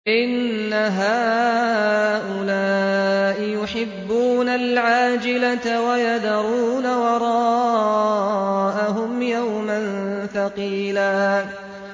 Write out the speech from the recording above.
إِنَّ هَٰؤُلَاءِ يُحِبُّونَ الْعَاجِلَةَ وَيَذَرُونَ وَرَاءَهُمْ يَوْمًا ثَقِيلًا